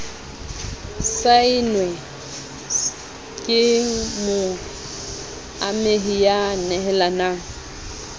saennwe ke moamehi ya nehelanang